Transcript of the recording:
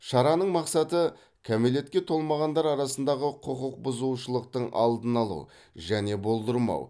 шараның мақсаты кәмелетке толмағандар арасындағы құқық бұзушылықтың алдын алу және болдырмау